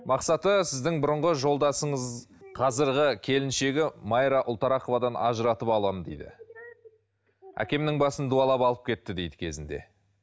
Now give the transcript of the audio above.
мақсаты сіздің бұрынғы жолдасыңыз қазіргі келіншегі майра ұлтарақовадан ажыратып аламын дейді әкемнің басын дуалап алып кетті дейді кезінде